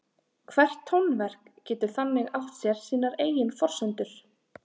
Hvert tónverk getur þannig átt sér sínar eigin forsendur.